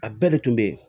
A bɛɛ de tun be yen